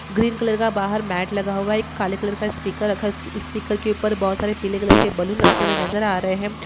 Green colour का बाहर mat लगा हुआ है। एक काले कलर का स्पीकर रखा हुआ है। स्पीकर के ऊपर बहुत सारे पीले कलर के बलून रखे हुए नजर आ रहे हैं।